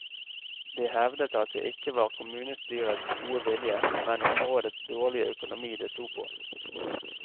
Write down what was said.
Det hevdet at det ikke var kommunestyrets gode vilje, men områdets dårlige økonomi det stod på.